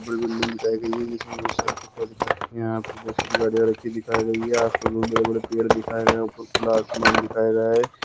बड़ी-बड़ी बिल्डिंग दिखाई गई है इसमें बहुत सारे यहां पे बहुत सारी गाड़ियां रखी दिखाई गई है यहां पर बड़े-बड़े पेड़ दिखाएं गए खुला आसमान दिखाए गए।